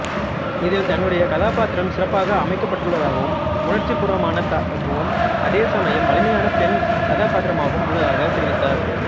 இதில் தன்னுடைய கதாப்பாத்திரம் சிறப்பாக அமைக்கப்பட்டுள்ளதாகவும் உணர்ச்சிப்பூர்வமானதாகவும் அதேசமயம் வலிமையான பெண் கதாப்பாத்திரமாகவும் உள்ளதாகத் தெரிவித்தார்